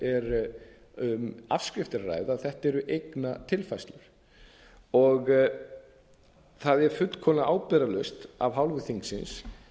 afskrift er að ræða þetta eru eignatilfærslur það er fullkomlega ábyrgðarlaust af hálfu þingsins